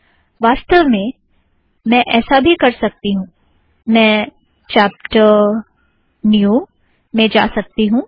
वासतव में मैं ऐसा भी कर सकती हूँ - मैं चापटर न्यू में जा सकती हूँ